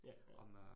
Ja, ja